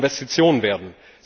EUR Investitionen werden.